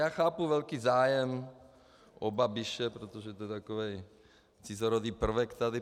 Já chápu velký zájem o Babiše, protože je to takový cizorodý prvek tady.